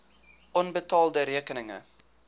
onbetaalde rekeninge